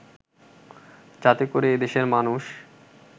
যাতে করে এদেশের মানুষ